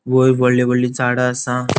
वैर वोडली वोडली झाडा असा.